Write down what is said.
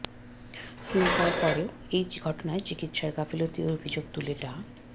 কিন্তু তারপরেও এই ঘটনায় চিকিৎসার গাফিলতির অভিযোগ তুলে ডা